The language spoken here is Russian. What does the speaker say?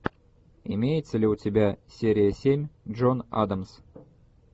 имеется ли у тебя серия семь джон адамс